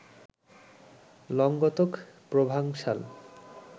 Languedoc, Provencal